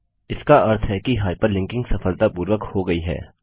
इसका अर्थ है कि हाइपरलिंकिंग सफलतापूर्वक हो गयी है